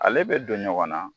Ale bɛ don ɲɔgɔn na